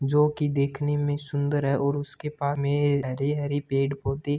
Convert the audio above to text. जो की देखने में सुन्दर है और उसके में हरे हरे पेड़ पौधे--